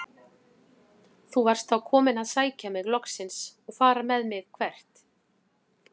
Þú varst þá kominn að sækja mig loksins og fara með mig- hvert?